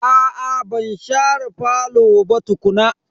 Aa ban share falo ba tukuna.